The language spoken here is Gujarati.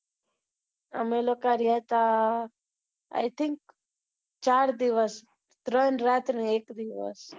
અમે લોકો રહ્યા હતા I think ચાર દિવસ ત્રણ રાત ને એક દિવસ